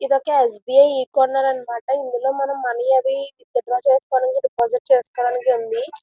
ఇదొక S B I ఈ corner అన్నమాట. ఇందులో మనం మనీ అవి విత్ డ్రా చేసుకోవటానికి డిపాజిట్ చేసుకోవడానికి ఉంది.